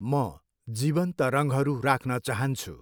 म जीवन्त रङहरू राख्न चाहन्छु।